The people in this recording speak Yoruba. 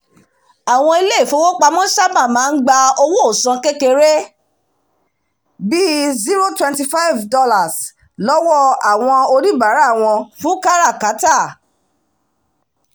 àwọn ilé ìfowópamọ́ sábà máa ń gba owóòsan kékeré bí i $ twenty five lọ́wọ́ àwọn oníbàárà wọn fún kátàkárà